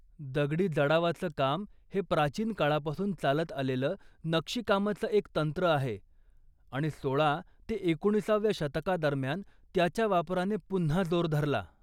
दगडी जडावाचं काम हे प्राचीन काळापासून चालत आलेलं नक्षीकामाचं एक तंत्र आहे, आणि सोळा ते एकोणीसाव्या शतकादरम्यान त्याच्या वापराने पुन्हा जोर धरला.